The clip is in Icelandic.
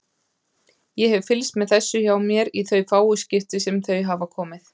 Ég hef fylgst með þessu hjá mér í þau fáu skipti sem þau hafa komið.